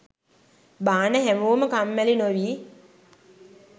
බාන හැමෝම කම්මැලි නොවී